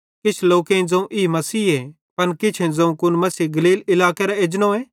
किछ लोकेईं ज़ोवं ई मसीहे पन किछेईं ज़ोवं कुन मसीह गलील इलाकेरां एजनोए